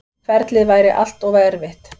Ferlið væri allt og erfitt.